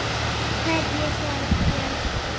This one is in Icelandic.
Hverju svarar Björn því?